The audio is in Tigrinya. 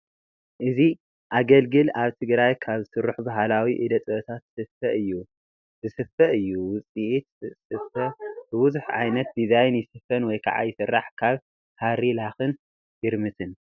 እዚ ኣገልግል ኣብ ትግራይ ካብ ዝስርሑ ባህላዊ እደ ጥበባት ስፈ እዩ፡፡ ውፅኢት ስፈ ብብዙሕ ዓይነትን ዲዛይንን ይስፈይ ወይ ከዓ ይስራሕ፡፡ ካብ ሃሪ፣ ላኻን ግርምትን፡፡